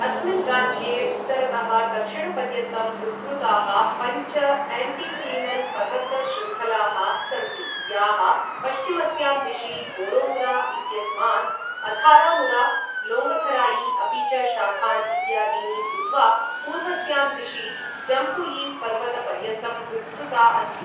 अस्मिन् राज्ये उत्तरतः दक्षिणपर्यन्तं विस्तृताः पञ्च एण्टीक्लिनल् पर्वतशृङ्खलाः सन्ति, याः पश्चिमस्यां दिशि बोरोमुरा इत्यस्मात्, अथारामुरा, लोङ्गथराई अपि च शाखान् इत्यादीनि भूत्वा पूर्वस्यां दिशि जम्पुयि पर्वतपर्यन्तं विस्तृता अस्ति।